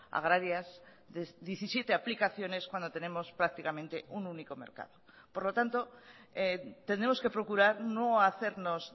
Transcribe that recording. agrarias diecisiete aplicaciones cuando tenemos prácticamente un único mercado por lo tanto tenemos que procurar no hacernos